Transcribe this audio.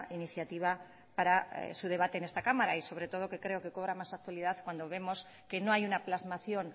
iniciativa para su debate en esta cámara y sobretodo que creo que cobra más actualidad cuando vemos que no hay una plasmación